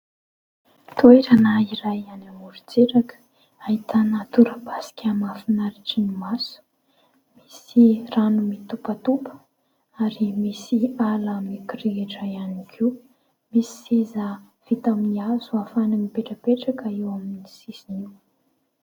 Toerana iray any amorontsiraka ahitana torapasika mahafinaritra ny maso. Misy rano mitopatopa ary misy ala mikirihitra ihany koa. Misy seza hazo ahafahana mipetrapetraka eo amin'ny sisiny eo.